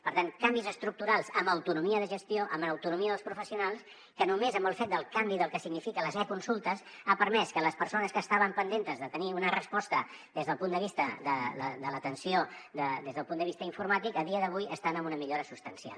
per tant canvis estructurals amb autonomia de gestió amb autonomia dels professionals que només amb el fet del canvi del que signifiquen les e consultes ha permès que les persones que estaven pendents de tenir una resposta des del punt de vista de l’atenció des del punt de vista informàtic a dia d’avui estan amb una millora substancial